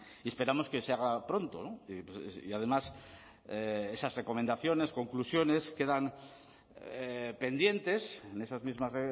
y esperamos que se haga pronto y además esas recomendaciones conclusiones quedan pendientes en esas mismas